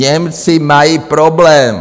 Němci mají problém.